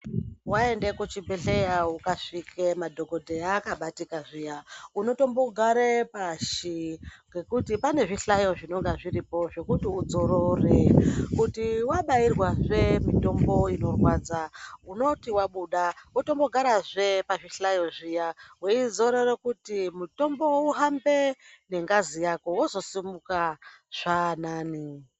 Waenda kuchibhedhlera ukasvike madhokodheya akabatika zviyani unotombogare pashi ngekuti pane zvihlayo zvinenge zviripo zvekuti udzorore kuti wabairwazve mitombo inorwadza unoti wabuda wotombogarazve pazvihlayo zviya weizorora kuti mutombo uhambe ngengazi yako wozosimuka zvaanane.